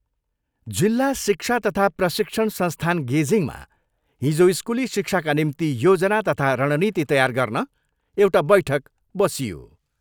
जिल्ला शिक्षा तथा प्रशिक्षण संस्थान गेजिङमा हिजो स्कुली शिक्षाका निम्ति योजना तथा रणनीति तयार गर्न एउटा बैठक बसियो।